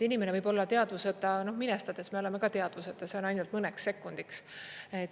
Inimene võib olla teadvuseta … noh, minestades me oleme ka teadvuseta, see on ainult mõneks sekundiks.